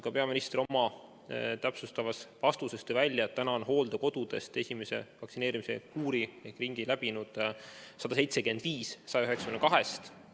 Ka peaminister oma täpsustavas vastuses tõi välja, et täna on esimese vaktsineerimiskuuri läbinud 175 hooldekodu 192 hooldekodust.